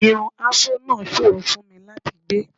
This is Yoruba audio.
Irun afró náà ṣòro fún mi láti gbé